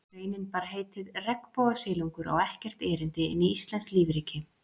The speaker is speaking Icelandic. Greinin bar heitið: Regnbogasilungur á ekkert erindi inn í íslenskt lífríki